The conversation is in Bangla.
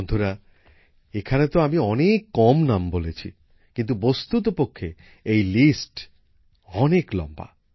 বন্ধুরা এখানে তো আমি অনেক কম নাম বলেছি কিন্তু বস্তুতপক্ষে এই তালিকা অনেক লম্বা